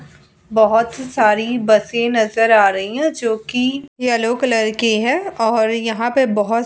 बहुत ही सारी बसे नजर आ रही हैं जो कि येलो कलर की है और यहाँ पे बहुत --